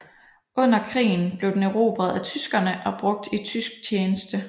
Under krigen blev den erobret af tyskerne og brugt i tysk tjeneste